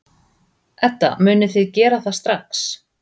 Edda: Munið þið gera það strax?